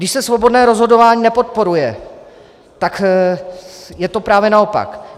Když se svobodné rozhodování nepodporuje, tak je to právě naopak.